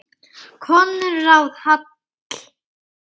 Konráð Hall.